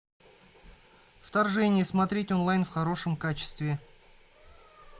вторжение смотреть онлайн в хорошем качестве